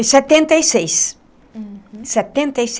Em setenta e seis. Uhum. Setenta e